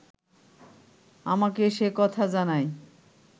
আমাকে সে কথা জানায়